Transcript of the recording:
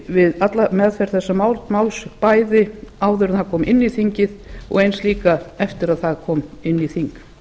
við meðferð þessa máls bæði áður en það kom inn í þingið og eins líka eftir að það kom inn í þingið